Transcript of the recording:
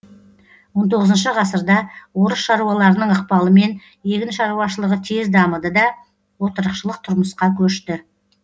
он тоғызыншы ғасырда орыс шаруаларының ықпалымен егін шаруашылығы тез дамыды да отырықшылық тұрмысқа көшті